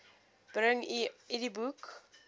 bring u idboek